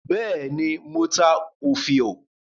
Bẹ́ẹ̀ ni, mo ta òfiò.